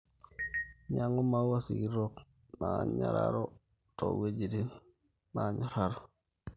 nyangu maua sikitok nanyoraro too wuejitin naanyoraro